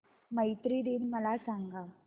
मैत्री दिन मला सांगा